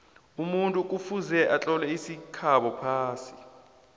umuntu kufuze atlole isikhabo phasi